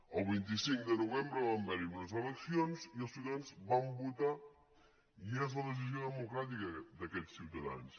el vint cinc de novembre van haver·hi unes eleccions i els ciutadans van votar i és la decisió de·mocràtica d’aquests ciutadans